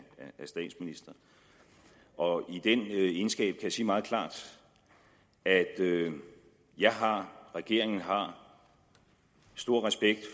statsminister og i den egenskab kan jeg sige meget klart at jeg har og regeringen har stor respekt